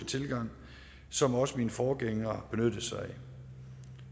tilgang som også mine forgængere benyttede sig af